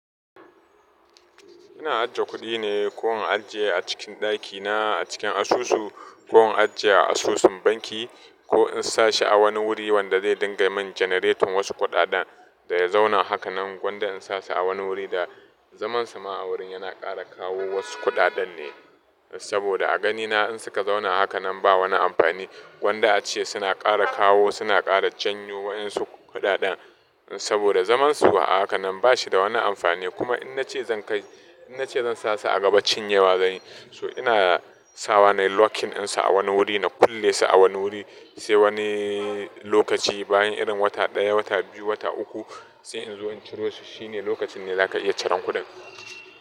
Ina ajiye kuɗina ko in ajiye a cikin ɗakina a cikin asusu ko in ajiye a asusun banki ko in sa shi a wani wuri wanda zai dinga min janeretin wasu kuɗaɗɗan da ya zauna haka nan gonda in sa shi a wani wuri da zamansa ma a wurin yana ƙara kawo wasu kuɗaɗɗan ne. Saboda a ganina in suka zauna haka nan ba wani amfani gonda ace suna ƙara kawo suna ƙara janyo waɗansu kuɗaɗan saboda zamansu a haka nan ba shi da wani amfani kuma in na ce zan kai, in na ce zan sa su a gabacin yawa zan yi so ina sawa nayi locking ɗinsa a wani wuri na kulle su a wani wuri sai wani lokaci bayan irin wata ɗaya wata biyu wata uku sai in zo in ciro su shine lokacin ne zaka iya ciran kuɗin.